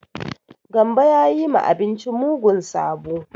Gambo ya yi ma abinci mugun sabo.